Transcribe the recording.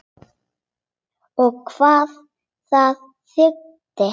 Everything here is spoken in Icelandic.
Og hvað það þýddi.